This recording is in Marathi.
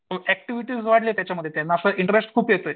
ऍक्टिव्हिटी वाढली आहे त्यांची त्याच्यात इंटरेस्ट खूप येतोय